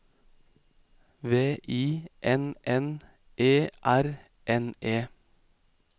V I N N E R N E